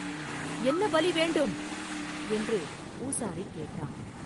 “என்ன பலி வேண்டும்?” என்று பூசாரி கேட்டான்.